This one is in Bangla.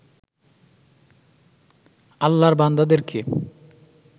আল্লার বান্দাদেরকে